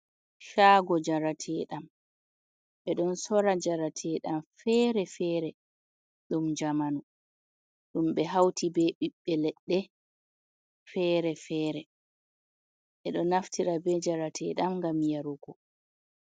Caago jarateeɗam ɓe ɗon soora jarateeɗam fere-fere ɗum jamanu ,ɗum ɓe hawti be ɓiɓɓe leɗɗe fere-fere ɓe ɗo naftira be jarateeɗam ngam yarugo.